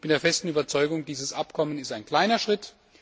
Ich bin der festen Überzeugung, dieses Abkommen ist ein kleiner Schritt.